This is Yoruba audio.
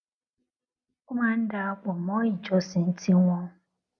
ó máa ń darapo mo ìjọsìn tí wón